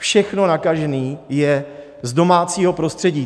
Všechno nakažení je z domácího prostředí.